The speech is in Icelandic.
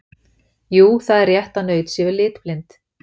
Jú, það er rétt að naut séu litblind.